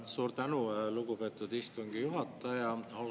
Suur tänu, lugupeetud istungi juhataja!